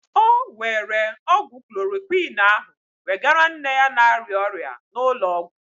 Ọ were ọgwụ klorokwin ahụ wegara nne ya na-arịa ọrịa n'ụlọ ọgwụ.